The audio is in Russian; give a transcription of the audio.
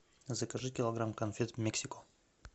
закажи килограмм конфет мексико